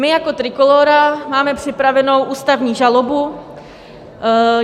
My jako Trikolóra máme připravenou ústavní žalobu.